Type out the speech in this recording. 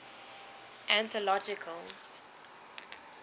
anthological